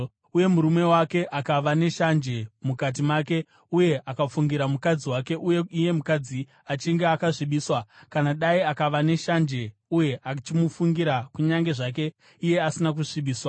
uye murume wake akava neshanje mukati make uye akafungira mukadzi wake, uye iye mukadzi achinge akasvibiswa, kana dai akava neshanje uye achimufungira kunyange zvake iye asina kusvibiswa,